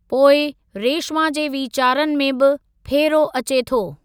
पोइ रेशिमा जे वीचारनि में बि फेरो अचे थो।